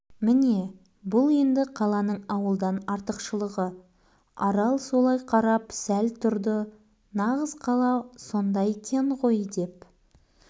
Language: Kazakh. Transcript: міне бұл енді қаланың ауылдан артықшылығы арал солай қарап сәл тұрды нағыз қала сонда екен ғойдеп